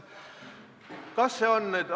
Kas see on nüüd ...